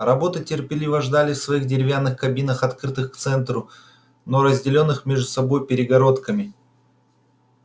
роботы терпеливо ждали в своих деревянных кабинах открытых к центру но разделённых между собой перегородками